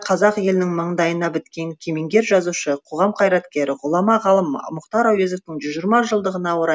қазақ елінің маңдайына біткен кемеңгер жазушы қоғам қайраткері ғұлама ғалым мұхтар әуезовтің жүз жиырма жылдығына орай